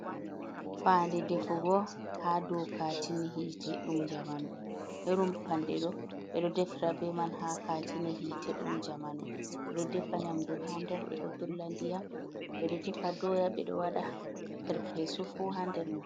Fande defugo ha do katine hite ɗum jamanu, irim panɗe ɗo ɓeɗo defra ɓe man ha katine hite ɗum jamanu, ɓedo defa nyamdu ha nder, ɓeɗo dolla ndiyam, ɓeɗo defa doya, ɓeɗo waɗa perpesu fu ha nder man.